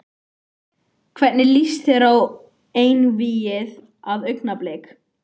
Hvernig lýst þér á einvígið við Augnablik?